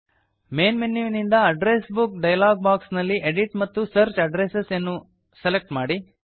main ಮೆನ್ಯುವಿನಿಂದ address book dialog box ನಲ್ಲಿ edit ಮತ್ತು ಸರ್ಚ್ ಅಡ್ರೆಸ್ ಅನ್ನು ಸೆಲೆಕ್ಟ್ ಮಾಡಿ